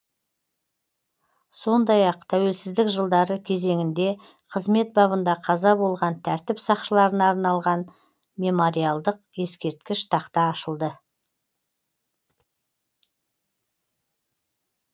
сондай ақ тәуелсзідік жылдары кезеңінде қызмет бабында қаза болған тәртіп сақшыларына арналған мемориалдық ескерткіш тақта ашылды